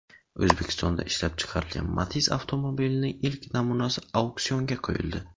O‘zbekistonda ishlab chiqarilgan Matiz avtomobilining ilk namunasi auksionga qo‘yildi.